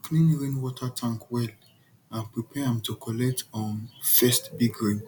clean rainwater tank well and prepare am to collect um first big rain